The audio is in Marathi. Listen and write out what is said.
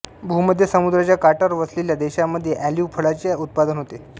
भूमध्य समुद्राच्या काठावर वसलेल्या देशांमध्ये ऑलिव्ह फळाचे उत्पादन होते